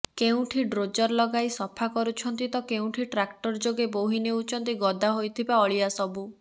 କେଉଁଠି ଡ୍ରୋଜର ଲଗାଇ ସଫା କରୁଛନ୍ତି ତ କେଉଁଠି ଟ୍ରାକ୍ଟର ଯୋଗେ ବୋହି ନେଉଛନ୍ତି ଗଦା ହୋଇଥିବା ଅଳିଆସବୁ